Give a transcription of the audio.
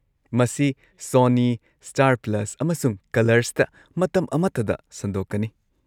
ꯃꯁꯤ Sony, Star Plus, ꯑꯃꯁꯨꯡ ꯀꯂꯔꯁꯇ ꯃꯇꯝ ꯑꯃꯠꯇꯗ ꯁꯟꯗꯣꯛꯀꯅꯤ꯫